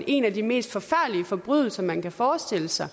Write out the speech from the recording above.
en af de mest forfærdelige forbrydelser man kan forestille sig